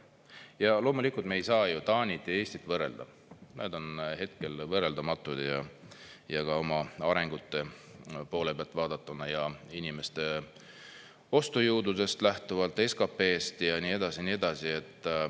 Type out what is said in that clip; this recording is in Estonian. Ja loomulikult, me ei saa ju Taanit ja Eestit võrrelda, need on hetkel võrreldamatud, ka oma arengu poole pealt vaadatuna ja inimeste ostujõust lähtuvalt, SKP-st ja nii edasi ja nii edasi.